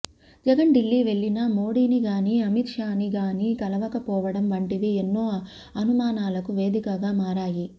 జగన్ ఢిల్లీ వెళ్ళినా మోడిని గాని అమిత్ షా ని గాని కలవకపోవడం వంటివి ఎన్నో అనుమానాలకు వేదికగా మారాయి